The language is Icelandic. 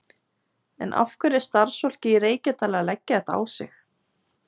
En af hverju er starfsfólkið í Reykjadal að leggja þetta á sig?